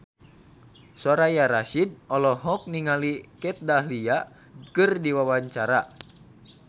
Soraya Rasyid olohok ningali Kat Dahlia keur diwawancara